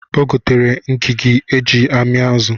O getere Ngigi o ji ami azụ